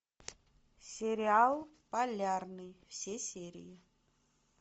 сериал полярный все серии